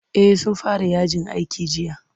Eh sun fara yajin aiki jiya.